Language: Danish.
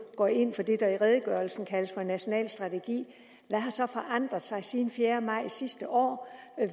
går ind for det der i redegørelsen kaldes for en national strategi hvad har så forandret sig siden den fjerde maj sidste år